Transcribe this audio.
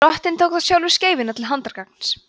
drottinn tók þá sjálfur skeifuna til handargagns